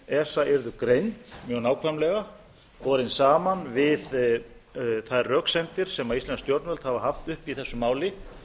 esa yrðu greind mjög nákvæmlega borin saman við þær röksemdir sem íslensk stjórnvöld hafa haft uppi í þessu máli